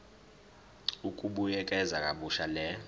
ukubuyekeza kabusha le